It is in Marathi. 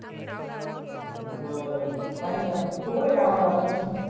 बरं पाहीना तू कुठे कामाला आता?